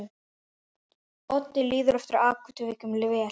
Oddi líður eftir atvikum vel.